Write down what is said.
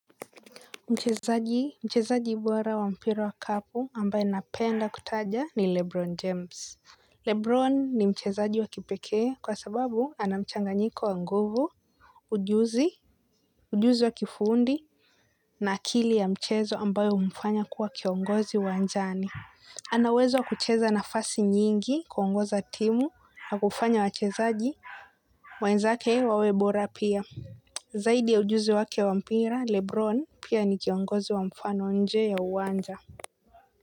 Mchezaji mchezaji bora wa mpira wa kikapu ambaye napenda kutaja ni Lebron James Lebron ni mchezaji wa kipekee kwa sababu anamchanganyiko wa nguvu ujuzi ujuzi wa kifundi na akili ya mchezo ambayo umfanya kuwa kiongozi wa njani ana uwezo wa kucheza nafasi nyingi kuongoza timu na kufanya wachezaji wenzake wawe bora pia. Zaidi ya ujuzi wake wa mpira Lebron pia ni kiongozi wa mfano nje ya uwanja.